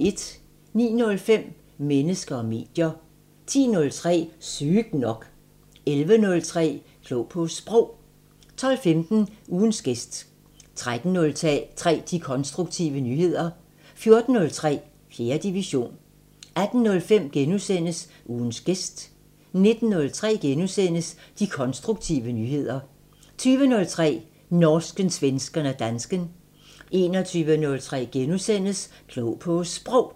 09:05: Mennesker og medier 10:03: Sygt nok 11:03: Klog på Sprog 12:15: Ugens gæst 13:03: De konstruktive nyheder 14:03: 4. division 18:05: Ugens gæst * 19:03: De konstruktive nyheder * 20:03: Norsken, svensken og dansken 21:03: Klog på Sprog *